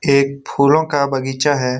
एक फूलों का बगीचा है।